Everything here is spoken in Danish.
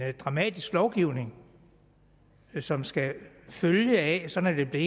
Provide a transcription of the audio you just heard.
dramatisk lovgivning som skal følge af sådan er